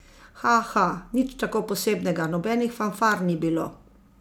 Haha, nič tako posebnega, nobenih fanfar ni bilo.